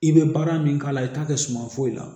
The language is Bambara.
I bɛ baara min k'a la i t'a kɛ suma foyi la